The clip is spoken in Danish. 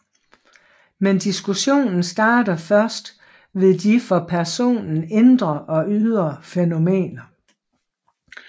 Men diskussionen starter først ved de for personen indre og ydre fænomener